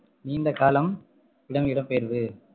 நீண்ட காலம் இடம்~ இடம்பெயர்வு